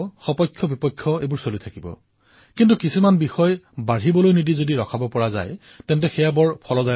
মোৰ মৰমৰ দেশবাসীসকল আৰু বিশেষকৈ যুৱচামসকল এতিয়া মই যি কথা কবলৈ বিচাৰিছো সেয়া আপোনালোকৰ কল্যাণৰ বাবে কবলৈ বিচাৰিছো